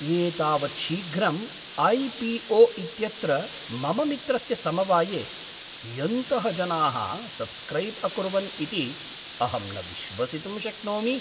एतावत् शीघ्रं ऐ.पी.ओ. इत्यत्र मम मित्रस्य समवाये कियन्तः जनाः सब्स्क्रैब् अकुर्वन् इति अहं न विश्वसितुं शक्नोमि।